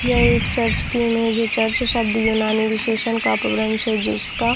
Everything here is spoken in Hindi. यह एक चर्च की इमेज है चर्च शब्द यूनानी विशेसन का अंश है जिसका--